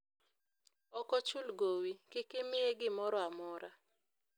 ok ochul gowi, kik imiye gimoro amora